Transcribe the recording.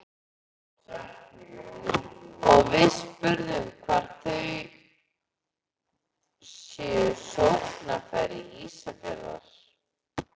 Og við spurðum hvar þau séu sóknarfæri Ísafjarðar?